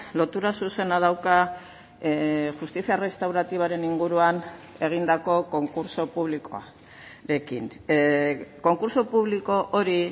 lotura zuzena dauka justizia restauratibaren inguruan egindako konkurtso publikoarekin konkurtso publiko hori